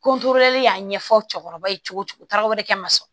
Ko y'a ɲɛfɔ cɛkɔrɔba ye cogo cogo taa yɔrɔ wɛrɛ ka masɔrɔ